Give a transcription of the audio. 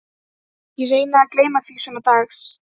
Þess vegna hékk hann hér hjá